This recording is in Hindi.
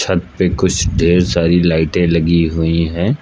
पे कुछ ढ़ेर सारी लाइटें लगी हुई हैं।